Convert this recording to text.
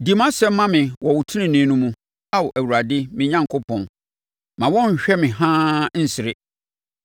Di mʼasɛm ma me wɔ wo tenenee no mu, Ao Awurade me Onyankopɔn; mma wɔn nhwɛ me haa nsere.